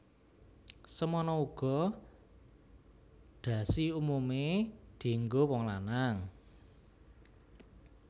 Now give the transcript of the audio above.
Semana uga dhasi umumé dienggo wong lanang